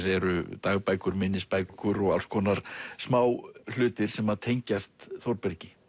eru dagbækur minnisbækur og alls konar smáhlutir sem að tengjast Þórbergi